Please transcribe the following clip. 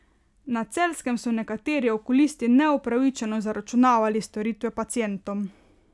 Na Celjskem so nekateri okulisti neupravičeno zaračunavali storitve pacientom.